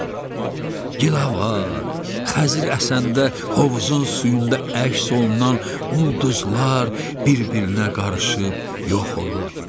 Gilavar Xəzri əsəndə hovuzun suyunda əks olunan ulduzlar bir-birinə qarışıb yox olurdu.